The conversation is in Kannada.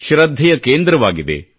ಶೃದ್ಧೆಯ ಕೇಂದ್ರವಾಗಿದೆ